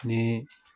Ni